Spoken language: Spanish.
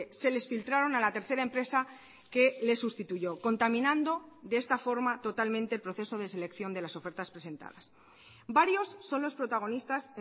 se les filtraron a la tercera empresa que le sustituyó contaminando de esta forma totalmente el proceso de selección de las ofertas presentadas varios son los protagonistas